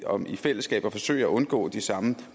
om i fællesskab at forsøge at undgå de samme